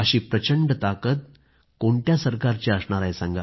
अशी प्रचंड ताकद कोणत्या सरकारची असणार आहे